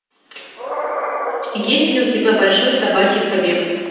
есть ли у тебя большой собачий побег